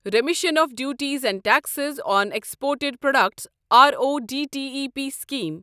remission of duties and taxes on exported products RoDTEP scheme